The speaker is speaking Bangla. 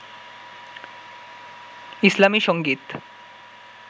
ইসলামী সংগীত